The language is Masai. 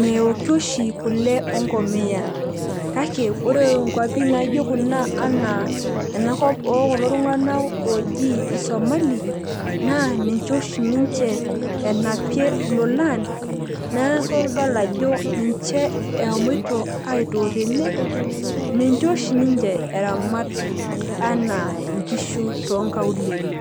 meoki oshi kule enkomia. kake ore nkuapi naijo kuna anaa ena kop ookulo tunganak ooji isomali, naa ninche oshi ninche enapie ilolan, neeku idol ajo ninche eshomoito aitook tene. ninch oshi ninche eramat anaa nkishu too nkaulele.